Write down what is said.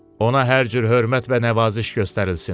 Ona hər cür hörmət və nəvaziş göstərilsin.